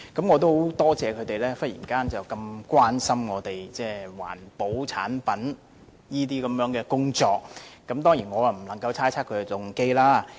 我很多謝他們忽然這麼關心環保產品相關的工作，我當然不能猜測他們的動機。